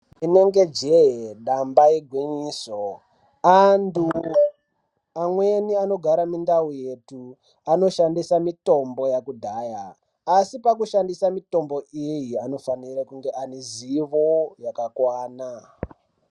Inenge jee dambe igwinyiso antu amweni anogara mundau yetu anoshandisa mitombo yakudhaya asi pakushandisa mitombo iyi asi pakushandisa mitombo iyi anofanira kunge anezivo yakakwana.